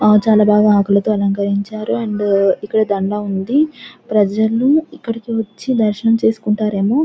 ఆ చాలా బాగా ఆకులతో అలంకరించారు అండ్ ఇక్కడ దండ ఉంది ప్రజలు ఇక్కడికి వచ్చి దర్శనం చేసుకుంటారు ఏమో.